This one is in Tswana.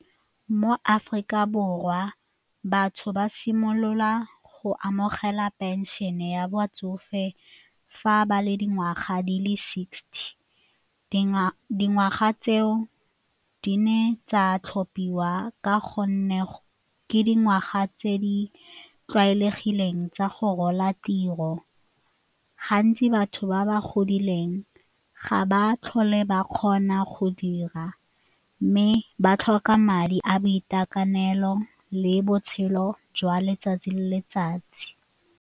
Mo Aforika Borwa batho ba simolola go amogela pension-e ya batsofe fa ba le dingwaga di le sixty dingwaga tseo di ne tsa tlhophiwa ka gonne ke dingwaga tse di tlwaelegileng tsa go rola tiro. Gantsi batho ba ba godileng ga ba tlhole ba kgona go dira mme ba tlhoka madi a boitekanelo le botshelo jwa letsatsi le letsatsi.